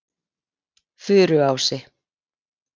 Furuási